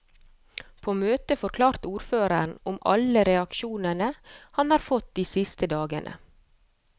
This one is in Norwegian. På møtet forklarte ordføreren om alle reaksjonene han har fått de siste dagene.